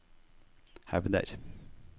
hevder